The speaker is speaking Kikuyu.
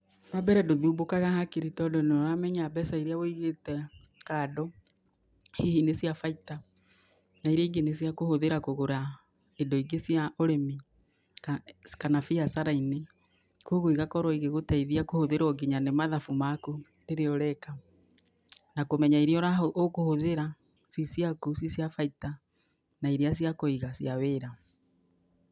Wa mbere ndũthumbũkaga hakiri, tondũ nĩ ũramenya mbeca irĩa wĩigĩte kando hihi nĩ cia baita na irĩa ingĩ nĩ cia kũhũthĩra kũgũra indo ingĩ cia ũrĩmi kana biacara-inĩ, koguo igakorwo igĩgũteithia kũhũthĩrwo kinya nĩ mathabu maku rĩrĩa ũreka na kũmenya irĩa ũkũhũthĩra ci ciaku ci cia baita na irĩa cia kũiga cia wĩra.